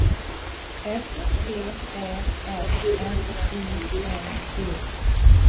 S T Ä M N I N G